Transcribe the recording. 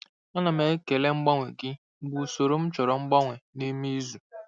Ana m ekele mgbanwe gị mgbe usoro m chọrọ mgbanwe n'ime izu.